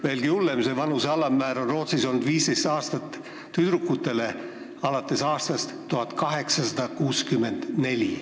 Veelgi hullem, see vanuse alammäär on Rootsis tüdrukutele kehtinud alates aastast 1864.